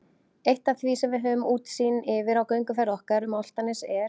Eitt af því sem við höfum útsýn yfir á gönguferð okkar um Álftanes er